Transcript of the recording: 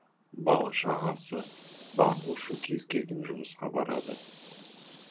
бала шағасы бағу үшін кез келген жұмысқа барады